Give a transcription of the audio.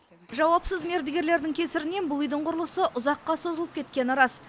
жауапсыз мердігерлердің кесірінен бұл үйдің құрылысы ұзаққа созылып кеткені рас